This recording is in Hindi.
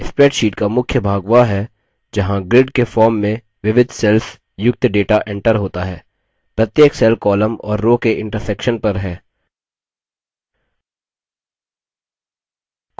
spreadsheet का मुख्य भाग वह है जहाँ grid के form में विविध cells युक्त data एंटर होता है प्रत्येक cells column और row के intersection पर है